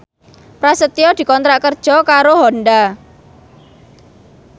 Prasetyo dikontrak kerja karo Honda